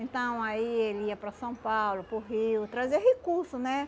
Então, aí ele ia para São Paulo, para o Rio, trazer recurso, né?